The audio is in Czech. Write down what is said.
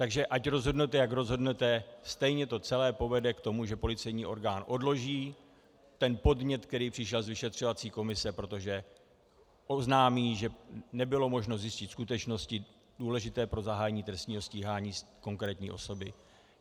Takže ať rozhodnete, jak rozhodnete, stejně to celé povede k tomu, že policejní orgán odloží ten podnět, který přišel z vyšetřovací komise, protože oznámí, že nebylo možno zjistit skutečnosti důležité pro zahájení trestního stíhání konkrétní osoby.